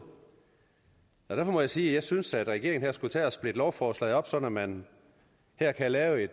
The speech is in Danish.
derfor må jeg sige at jeg synes at regeringen skulle tage og splitte lovforslaget op sådan at man her kan lave